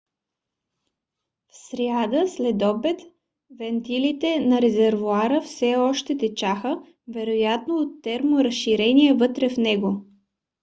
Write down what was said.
в сряда следобед вентилите на резервоара все още течаха вероятно от терморазширение вътре в него